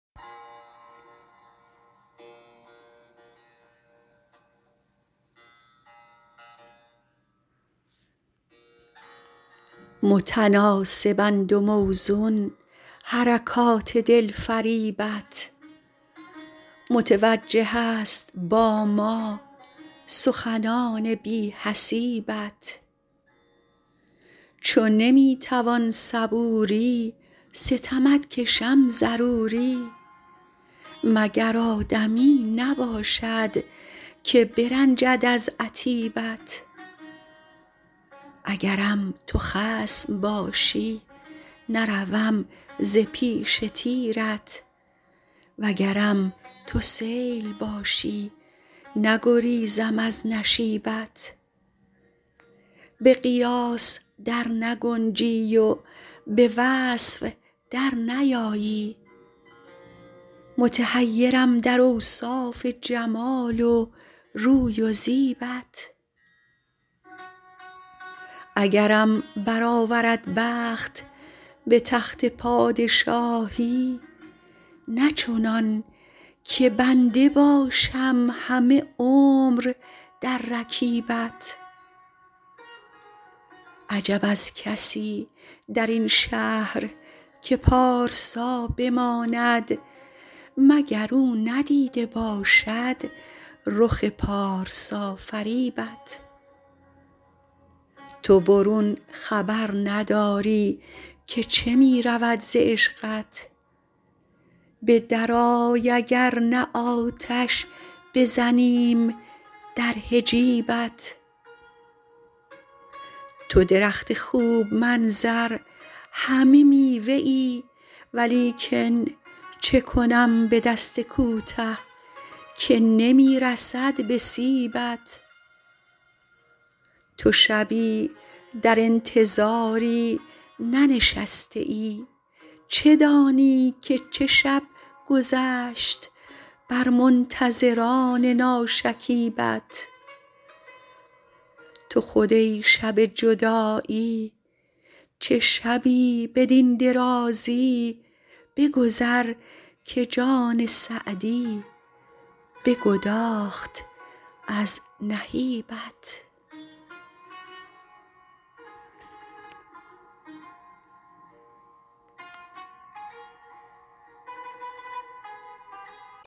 متناسبند و موزون حرکات دلفریبت متوجه است با ما سخنان بی حسیبت چو نمی توان صبوری ستمت کشم ضروری مگر آدمی نباشد که برنجد از عتیبت اگرم تو خصم باشی نروم ز پیش تیرت وگرم تو سیل باشی نگریزم از نشیبت به قیاس در نگنجی و به وصف در نیایی متحیرم در اوصاف جمال و روی و زیبت اگرم برآورد بخت به تخت پادشاهی نه چنان که بنده باشم همه عمر در رکیبت عجب از کسی در این شهر که پارسا بماند مگر او ندیده باشد رخ پارسافریبت تو برون خبر نداری که چه می رود ز عشقت به درآی اگر نه آتش بزنیم در حجیبت تو درخت خوب منظر همه میوه ای ولیکن چه کنم به دست کوته که نمی رسد به سیبت تو شبی در انتظاری ننشسته ای چه دانی که چه شب گذشت بر منتظران ناشکیبت تو خود ای شب جدایی چه شبی بدین درازی بگذر که جان سعدی بگداخت از نهیبت